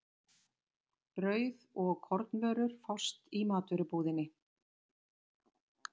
Brauð og kornvörur fást í matvörubúðinni.